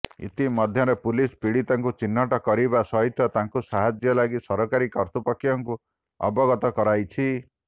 ଇତି ମଧ୍ୟରେ ପୁଲିସ ପୀଡ଼ିତାଙ୍କୁ ଚିହ୍ନଟ କରିବା ସହିତ ତାଙ୍କୁ ସାହାଯ୍ୟ ଲାଗି ସରକାରୀ କର୍ତ୍ତୃପକ୍ଷଙ୍କୁ ଅବଗତ କରାଇଛି